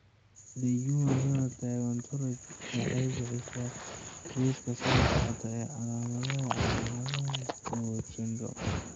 The Human Phenotype Ontology waxay bixisaa liiska soo socda ee calaamadaha iyo calaamadaha BOD syndrome.